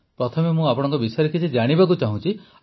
ପ୍ରଥମେ ମୁଁ ଆପଣଙ୍କ ବିଷୟରେ କିଛି ଜାଣିବାକୁ ଚାହୁଁଛି